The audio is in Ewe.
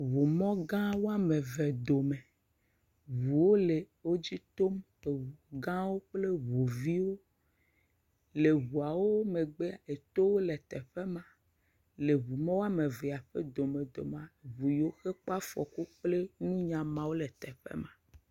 Ŋumɔga wo ame eve dome. Ŋuwo le wodzi tom. Eŋugãwo kple ŋuviwo. Le ŋuawo megbe, etowo le teƒe ma. Le ŋu ma ƒe wo ame eve ƒe domedomea, ŋu yiwo ke kpɔ afɔku kple nunyamanyamawo le teƒe ma.